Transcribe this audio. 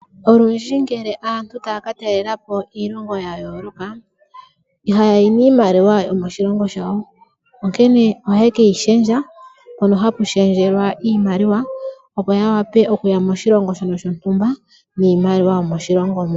Olundji ngele aantu taya katalelapo iilongo yayooloka ihayayi niimaliwa yomoshilongo shawo, ohaye keyi shendja koombaanga opo yawape okuya moshilongo shono shontumba niimaliwa yomoshilongo mo.